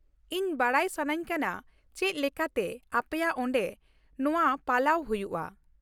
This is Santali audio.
ᱤᱧ ᱵᱟᱰᱟᱭ ᱥᱟᱹᱱᱟᱹᱧ ᱠᱟᱱᱟ ᱪᱮᱫ ᱞᱮᱠᱟᱛᱮ ᱟᱯᱮᱭᱟᱜ ᱚᱸᱰᱮ ᱱᱚᱶᱟ ᱯᱟᱞᱟᱣ ᱦᱩᱭᱩᱜᱼᱟ ᱾